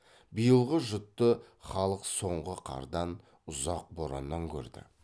биылғы жұтты халық соңғы қардан ұзақ бораннан көрді